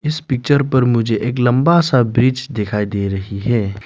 इस पिक्चर पर मुझे एक लंबा सा ब्रिज दिखाई दे रही है।